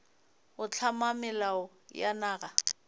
go hlama melao ya naga